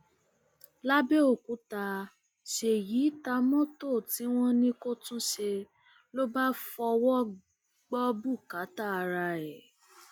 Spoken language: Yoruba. lábẹọkúta ṣèyí ta mọtò tí wọn ní kó túnṣe ló bá fọwọ gbọ bùkátà ara ẹ